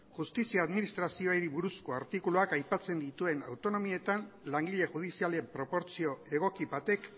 justizia administrazioari buruzko artikuluak aipatzen dituen autonomietan langile judizialen proportzio egoki batek